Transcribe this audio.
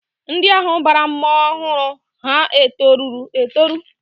Ndị ahụ bara mmọnwụ ọhụrụ ha etoruru etoru?